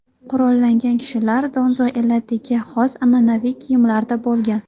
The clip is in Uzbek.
Qurollangan kishilar donzo elatiga xos an’anaviy kiyimlarda bo‘lgan.